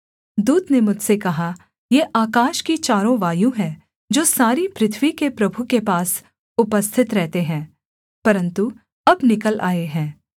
दूत ने मुझसे कहा ये आकाश की चारों वायु हैं जो सारी पृथ्वी के प्रभु के पास उपस्थित रहते हैं परन्तु अब निकल आए हैं